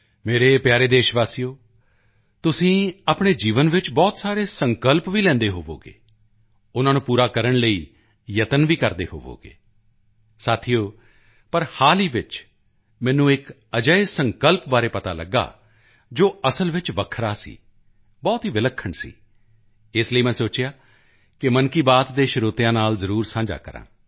ਮੇਰੇ ਪਿਆਰੇ ਦੇਸ਼ਵਾਸੀਓ ਤੁਸੀਂ ਆਪਣੇ ਜੀਵਨ ਵਿੱਚ ਬਹੁਤ ਸਾਰੇ ਸੰਕਲਪ ਲੈਂਦੇ ਹੋਵੋਗੇ ਉਨ੍ਹਾਂ ਨੂੰ ਪੂਰਾ ਕਰਨ ਲਈ ਯਤਨ ਵੀ ਕਰਦੇ ਹੋਵੋਗੇ ਦੋਸਤੋ ਪਰ ਹਾਲ ਹੀ ਵਿੱਚ ਮੈਨੂੰ ਇੱਕ ਅਜਿਹੇ ਸੰਕਲਪ ਬਾਰੇ ਪਤਾ ਲਗਿਆ ਜੋ ਅਸਲ ਵਿੱਚ ਵੱਖਰਾ ਸੀ ਬਹੁਤ ਹੀ ਵਿਲੱਖਣ ਸੀ ਇਸ ਲਈ ਮੈਂ ਸੋਚਿਆ ਕਿ ਮਨ ਕੀ ਬਾਤ ਦੇ ਸਰੋਤਿਆਂ ਨਾਲ ਜ਼ਰੂਰ ਸਾਂਝਾ ਕਰਾਂ